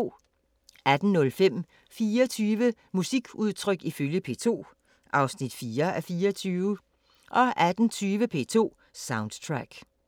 18:05: 24 musikudtryk ifølge P2 (4:24) 18:20: P2 Soundtrack